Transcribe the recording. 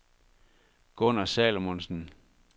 Gunner Salomonsen